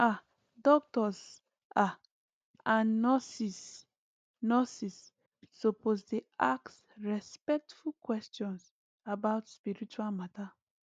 ah doctors ah and nurses nurses suppose dey ask respectful questions about spiritual matter